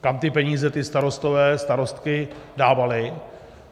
Kam ty peníze ti starostové, starostky dávali.